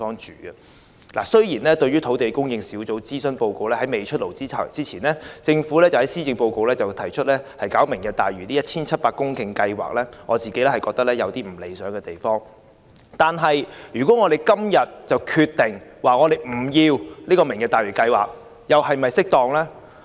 政府在土地供應專責小組的諮詢報告"出爐"前，於施政報告提出"明日大嶼"的 1,700 公頃填海計劃，雖然做法不太理想，但我們今天若貿然決定不要"明日大嶼"計劃，又是否恰當？